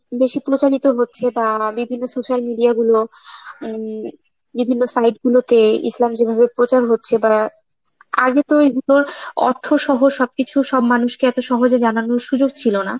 বেশি প্রচারিত হচ্ছে বা বিভিন্ন social media গুলো হম, বিভিন্ন site গুলোতে ইসলাম যেভাবে প্রচার হচ্ছে বা, আগে তো এইগুলোর অর্থ সহ সবকিছু সব মানুষকে এত সহজে জানানোর সুযোগ ছিল না,